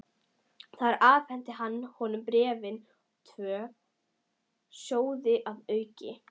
Þar afhenti hann honum bréfin og tvo sjóði að auki.